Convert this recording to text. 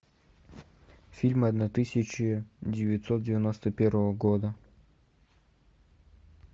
фильмы одна тысяча девятьсот девяносто первого года